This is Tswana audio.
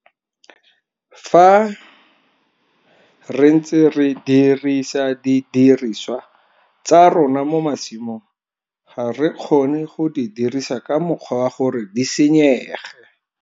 Fa re ntse re dirisa didiriswa tsa rona mo masimong, ga re kgone go di dirisa ka mokgwa wa gore di senyege.